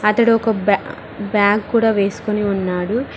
అతడు ఒక బ్యా బ్యాగ్ కూడా వేసుకొని ఉన్నాడు.